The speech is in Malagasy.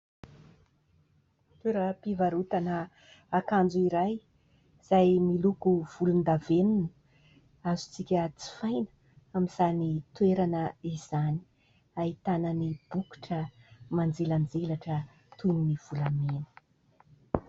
Toeram-pivarotana akanjo iray izay miloko volondavenona azontsika jifaina amin'izany toerana izany, ahitana ny bokotra manjelanjelatra toy ny volamena.